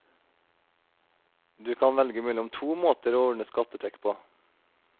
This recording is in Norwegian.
Du kan velge mellom to måter å ordne skattetrekk på.